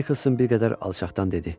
Nikolson bir qədər alçaqdan dedi.